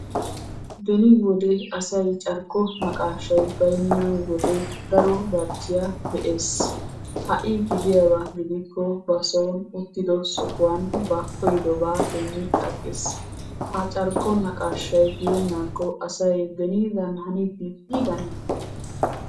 Beni wode asay carkko naqaashay bayinna wode daro barchchiya be'ees. Ha'i gidiyaaba gidikko bason uttido sohuwan ba koyyidobaa demmi agges. Ha carkko naqaashay yeennakko asay benidan haniddi diiggane?